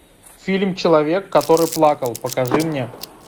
фильм человек который плакал покажи мне